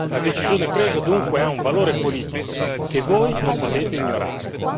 La decisione presa ha dunque un valore politico che voi non potete ignorare.